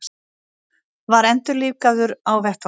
Var endurlífgaður á vettvangi